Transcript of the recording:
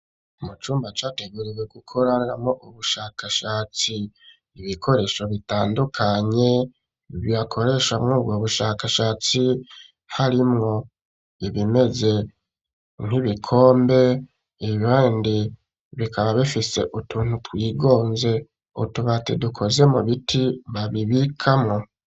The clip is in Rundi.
Mu cumba categuriwe gukoreramo ubushakashatsi ,ibikoresho bitandukanye bakoreshamwo ubwo bushakashatsi harimwo ibimeze nk'ibikombe , ibindi bikaba bifise utuntu twigonze, utubati dukoze mu biti babibikamwo.